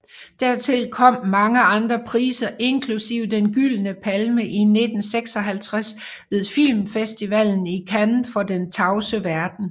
Dertil kom mange andre priser inklusive Den Gyldne Palme i 1956 ved filmfestivalen i Cannes for Den tavse verden